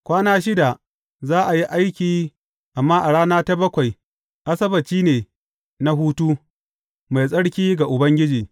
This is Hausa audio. Kwana shida, za a yi aiki, amma a rana ta bakwai, Asabbaci ne na hutu, mai tsarki ga Ubangiji.